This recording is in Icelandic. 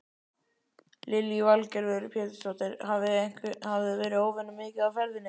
Lillý Valgerður Pétursdóttir: Hafið þið verið óvenju mikið á ferðinni?